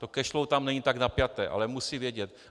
To cash flow tam není tak napjaté, ale musí vědět.